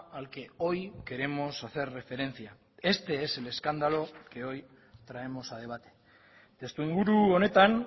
al que hoy queremos hacer referencia este es el escándalo que hoy traemos a debate testu inguru honetan